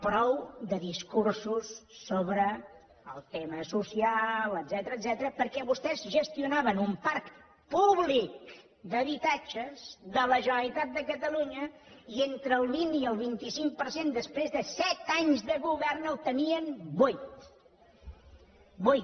prou de discursos sobre el tema social etcètera perquè vostès gestionaven un parc públiccatalunya i entre el vint i el vint cinc per cent després de set anys de govern el tenien buit buit